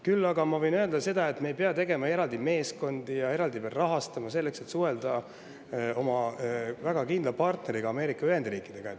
Küll aga võin ma öelda, et me ei pea tegema eraldi meeskondi ja neid veel eraldi rahastama, selleks et suhelda oma väga kindla partneri Ameerika Ühendriikidega.